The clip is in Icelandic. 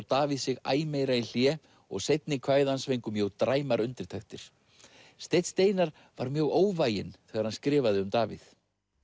Davíð sig æ meira í hlé og seinni kvæði hans fengu mjög dræmar undirtektir steinn Steinarr var mjög óvæginn þegar hann skrifaði um Davíð